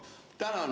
Tänan!